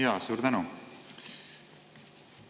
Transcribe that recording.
Jaa, suur tänu!